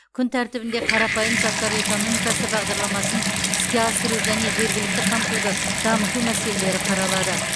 күн тәртібінде қарапайым заттар экономикасы бағдарламасын іске асыру және жергілікті қамтуды дамыту мәселелері қаралады